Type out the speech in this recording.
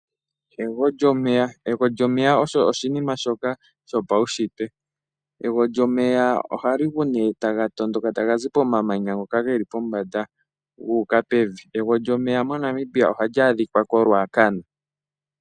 Egwo lyomeya osho oshinima shoka shopaunshitwe. Egwo lyomeya ohali gu nee taga tondoka tagazi pomamanya ngoka geli pombanda gu uka pevi. Egwo lyomeya moNamibia ohali adhika ko Ruacana.